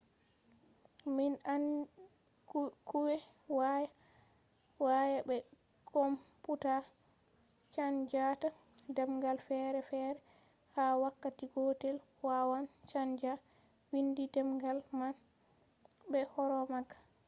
kuje waya be komputa chanjata demgal fere fere ha wakkati gotel – wawan chanja windi demgal man be hore magaa